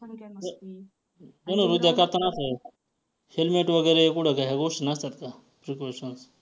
धनुर्विद्या करताना helmet वगैरे पुढं काय ह्या गोष्टी नसतात का precaution